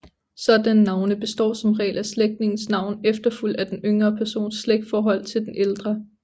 Sådanne navne består som regel af slægtningens navn efterfulgt af den yngre persons slægtsforhold til den ældre